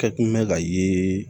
Kɛ kun bɛ ka ye